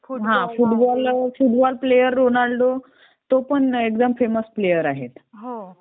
हां. Football player Ronaldo, तो पण एकदम फेमस प्लेअर आहे.